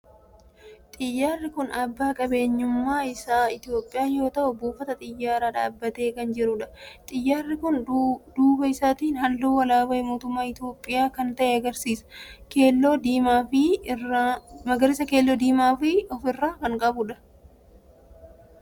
Xiyyaarri kun abbaan qabeenyummaa isaa Itiyoophiyaa yoo ta'u buufata xiyyaaraa dhaabbatee kan jirudha. Xiyyaarri kun duuba isaatii halluu alaabaa mootummaa Itiyoophiyaa kan ta'e magariisa, keelloo fi diimaa of irraa kan qabudha.